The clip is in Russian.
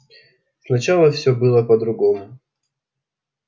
сначала всё было по-другому